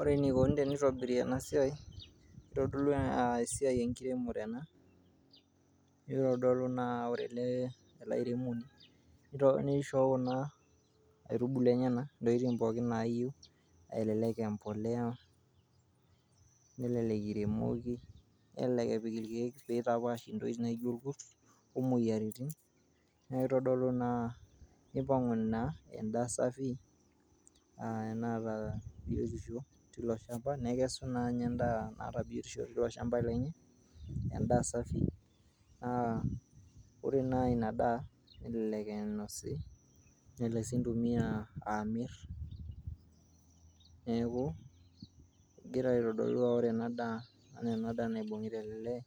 ore enikoni tenitobiri ena siai kitodolu aa esiai enkiremore ena nitodolu naa ore ele, ele airemoni nishoo kuna aitubulu enyenak intokitin pookin nayieu elelek uh, empoleya nelelek iremoki nelelek epik irkeek pitapash intokitin naijo irkurt omoyiaritin naitodolu naa ipang'u naa endaa safi enaata biotoisho tilo shamba nekesu naa ninnye endaa naata biotisho tilo shamba lenye endaa safi naa ore naa ina daa elelek inosi nelelek sii intumia amirr neeku egira aitodolu aa ore ena daa enaa ena daa naibung'ita ele lee